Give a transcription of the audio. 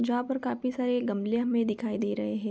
जहाँ पर काफी सारे गमले हमें दिखाई दे रहे हैं।